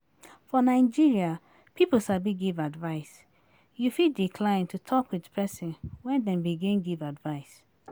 For nigeria people sabi give advice, you fit decline to talk with person when dem begin give advise